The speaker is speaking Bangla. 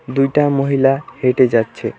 দুইটা মহিলা হেঁটে যাচ্ছে।